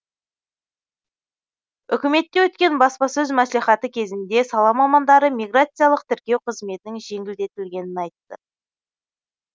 үкіметте өткен баспасөз мәслихаты кезінде сала мамандары миграциялық тіркеу қызметінің жеңілдетілгенін айтты